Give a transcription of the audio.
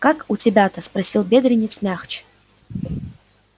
как у тебя-то спросил бедренец мягче